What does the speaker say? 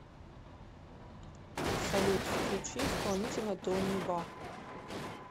салют включи исполнителя тони ва